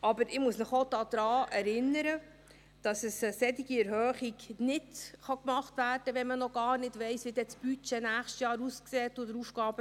Aber ich muss Sie auch daran erinnern, dass eine solche Erhöhung nicht gemacht werde kann, wenn man noch gar nicht weiss, wie das Budget und der AFP im nächsten Jahr aussehen werden.